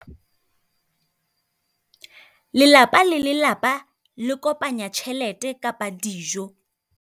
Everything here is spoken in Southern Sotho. Lelapa le lelapa le kopanya tjhelete kapa dijo.